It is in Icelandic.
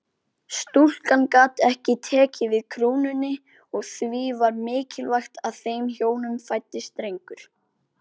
Stúlka gat ekki tekið við krúnunni og því var mikilvægt að þeim hjónum fæddist drengur.